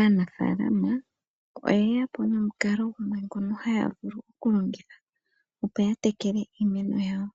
Aanafaalama oyeya po nomukalo gumwe ngoka haa vulu okulongitha, opo ya tekele iimeno yawo.